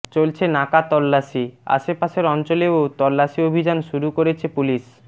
চলছে নাকা তল্লাশি আশাপাশের অঞ্চলেও তল্লাশি অভিযান শুরু করেছে পুলিশ